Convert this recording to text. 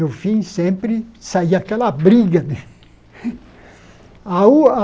No fim, sempre saía aquela briga, né? A o a